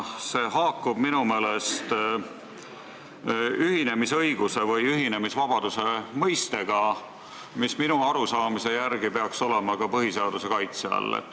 See haakub minu meelest ühinemisõiguse või ühinemisvabaduse mõistega, mis minu arusaamise järgi peaks olema põhiseaduse kaitse all.